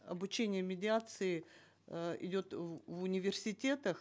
обучение медиации э идет в университетах